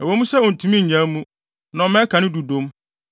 ɛwɔ mu sɛ ontumi nnyaa mu na ɔma ɛka ne dudom,